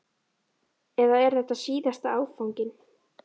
Eða er þetta síðasti áfanginn?